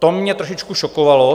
To mě trošičku šokovalo.